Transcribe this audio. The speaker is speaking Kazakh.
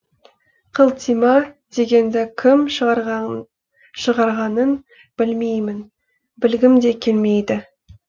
қылтима дегенді кім шығарғанын білмеймін білгім де келмейді